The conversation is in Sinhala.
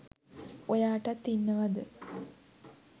ඔයාටත් ඉන්නවද